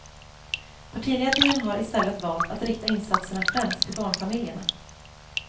Partiledningen har i stället valt att rikta insatserna främst till barnfamiljerna.